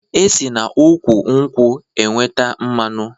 E si n'úkwù nkwụ enweta mmanụ